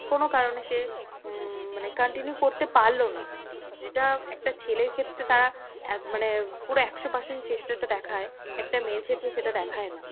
কোনো কারণে সে উম মানে continue করতে পারলো না, যেটা একটা ছেলের ক্ষেত্রে তারা এক মানে পুরো একশো percent চেষ্টাটা দেখায় একটা মেয়ের ক্ষেত্রে সেটা দেখায় না।